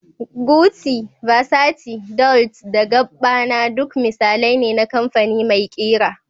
Gucci, Versace, Dolce da Gabbana duk misalai ne na kamfani mai ƙira